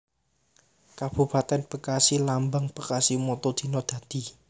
Kabupatèn BekasiLambang BekasiMotto Dina Dadi